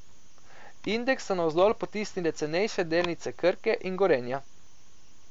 Indeks so navzdol potisnile cenejše delnice Krke in Gorenja.